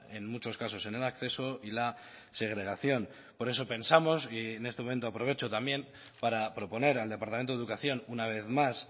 en muchos casos en el acceso y la segregación por eso pensamos y en este momento aprovecho también para proponer al departamento de educación una vez más